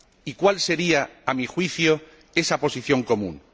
Y ¿cuál sería, a mi juicio, esa posición común?